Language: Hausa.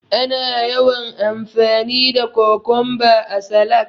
Ana yawan amfani da Kokonba a salak.